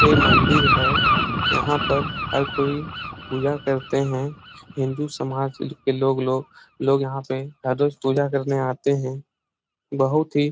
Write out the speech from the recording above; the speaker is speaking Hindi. ये मंदिर है यहाँ पर हर कोई पूजा करते है हिन्दू समाज के लोग लोग लोग यहाँ पे हर रोज पूजा करने आते है बहुत ही--